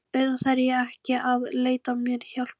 Auðvitað þarf ég ekki að leita mér hjálpar.